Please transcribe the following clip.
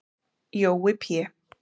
Jói Pé